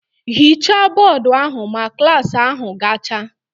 Ghichaa bọọdụ ahụ ma klas ahụ gacha!